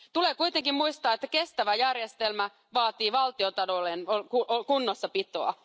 Tulee kuitenkin muistaa, että kestävä järjestelmä vaatii valtion talouden kunnossapitoa.